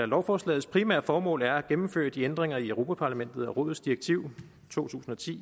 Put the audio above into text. lovforslagets primære formål er at gennemføre de ændringer i europa parlamentets og rådets direktiv to tusind og ti